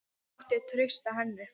Það mátti treysta henni.